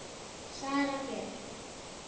Sara Björk.